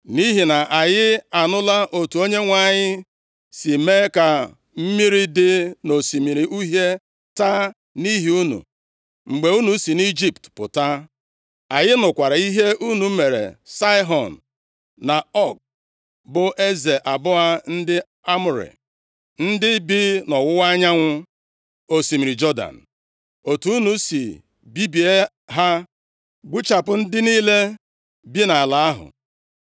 nʼihi na anyị anụla otu Onyenwe anyị si mee ka mmiri dị nʼOsimiri Uhie taa nʼihi unu, mgbe unu si nʼIjipt pụta. Anyị nụkwara ihe unu mere Saịhọn, na Ọg, bụ eze abụọ ndị Amọrị, ndị bi nʼọwụwa anyanwụ osimiri Jọdan, otu unu si bibie ha, gbuchapụ ndị niile bi nʼala ahụ.